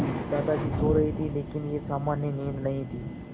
दादाजी सो रहे थे लेकिन यह सामान्य नींद नहीं थी